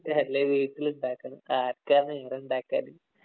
അല്ലേ വീട്ടിലൊണ്ടാക്കണം. ആര്‍ക്കാ നേരം ഒണ്ടാക്കാന്.